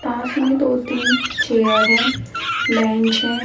पास में दो तीन चेयर है बेंच है।